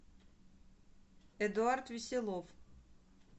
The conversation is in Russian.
эдуард веселов